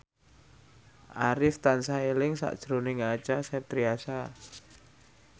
Arif tansah eling sakjroning Acha Septriasa